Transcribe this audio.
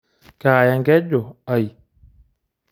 Kaaya enkeju ai.